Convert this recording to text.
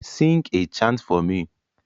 Sing a chant for me